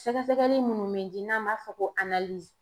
Sɛgɛsɛgɛli munnu be di n'an b'a fɔ ko